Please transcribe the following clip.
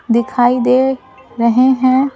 दिखाई दे रही है ।